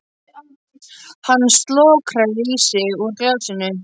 Hann slokrar í sig úr glasinu.